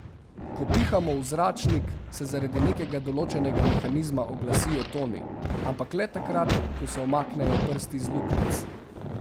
Ko pihamo v zračnik, se zaradi nekega določenega mehanizma oglasijo toni, ampak le takrat, ko se umaknejo prsti z luknjic.